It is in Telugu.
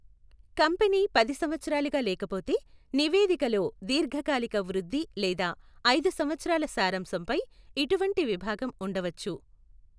కంపెనీ పది సంవత్సరాలుగా లేకపోతే, నివేదికలో దీర్ఘకాలిక వృద్ధి లేదా ఐదు సంవత్సరాల సారాంశం పై ఇటువంటి విభాగం ఉండవచ్చు.